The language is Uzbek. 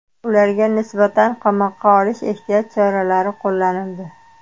Ularga nisbatan qamoqqa olish ehtiyot chorasi qo‘llanildi.